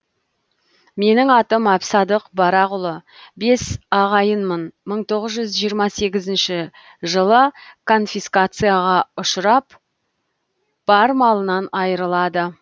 менің атым әбсадық барақұлы бес ағайынмын мың тоғыз жүз жиырма сегізінші жылы конфискацияға ұшырап бар малынан айырылады